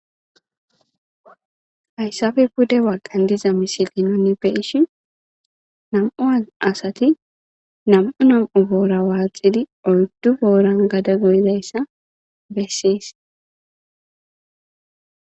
hayssappe bude bagan diza misili nuni be'ishin nam'u asati nam'u nam'u boora waaxidi oyddu booran gada goyzayssa bessees.